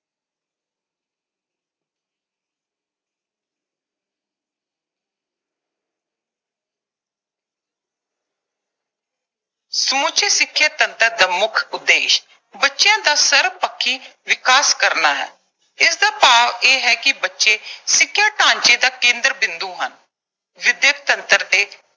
ਸਮੁੱਚੇ ਸਿੱਖਿਆ ਤੰਤਰ ਦਾ ਮੁੱਖ ਉਦੇਸ਼ ਬੱਚਿਆਂ ਦਾ ਸਰਬਪੱਖੀ ਵਿਕਾਸ ਕਰਨਾ ਹੈ। ਇਸਦਾ ਭਾਵ ਇਹ ਹੈ ਕਿ ਬੱਚੇ ਸਿੱਖਿਆ ਢਾਂਚੇ ਦਾ ਕੇਂਦਰ ਬਿੰਦੂ ਹਨ। ਵਿੱਦਿਅਕ ਤੰਤਰ ਦੇ